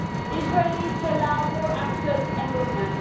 Israel needs to allow more access and movement.